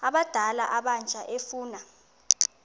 abadala abatsha efuna